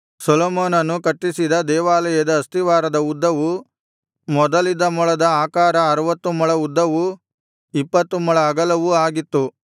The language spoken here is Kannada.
ಸೊಲೊಮೋನನು ಕಟ್ಟಿಸಿದ ದೇವಾಲಯದ ಅಸ್ತಿವಾರದ ಉದ್ದವು ಮೊದಲಿದ್ದ ಮೊಳದ ಪ್ರಕಾರ ಅರುವತ್ತು ಮೊಳ ಉದ್ದವೂ ಇಪ್ಪತ್ತು ಮೊಳ ಅಗಲವು ಆಗಿತ್ತು